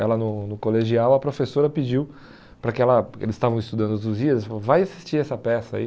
Ela no no colegial, a professora pediu para que ela, porque eles estavam estudando Os Lusíadas, ela falou, vai assistir essa peça aí.